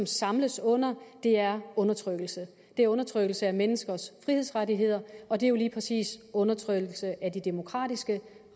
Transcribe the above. samles under er undertrykkelse det er undertrykkelse af menneskers frihedsrettigheder og det er jo lige præcis undertrykkelse af de demokratiske